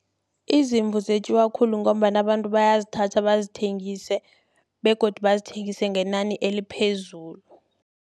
Izimvu zetjiwa khulu, ngombana abantu bayazithatha bazithengise, begodu bazithengise ngenani eliphezulu.